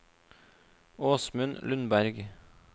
Åsmund Lundberg